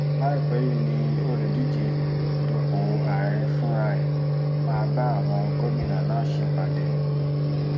láìpẹ́ yìí ni olùdíje dupò ààrẹ fúnra ẹ̀ máa bá àwọn gómìnà náà ṣèpàdé